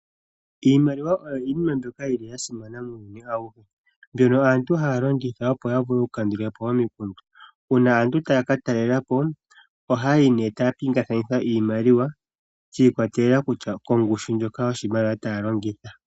Iimaliwa oyo yimwe mbyoka yili yasimana muuyuni awuhe. Aantu ohaye yi longitha opo ya vule oku kandulapo omikundu. Uuna aantu taya ka talelapo ohaya pingakanitha iimaliwa shikwatelela koongushu ndjoka yoshimaliwa taya longitha.